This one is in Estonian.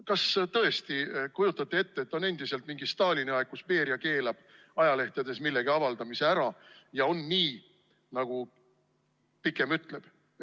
Kas te tõesti kujutate ette, et on endiselt mingi Stalini aeg, kui Beria keelab ajalehtedes millegi avaldamise ära ja on nii, nagu pikem ütleb?